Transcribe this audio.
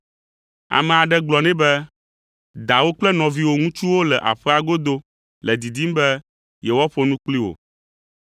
Ame aɖe gblɔ nɛ be, “Dawò kple nɔviwò ŋutsuwo le aƒea godo le didim be yewoaƒo nu kpli wò.”